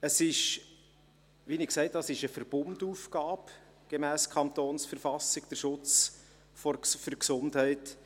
Der Schutz der Gesundheit ist, wie ich sagte, eine Verbundaufgabe gemäss Verfassung des Kantons Bern (KV).